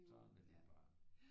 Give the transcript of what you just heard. Sådan er det bare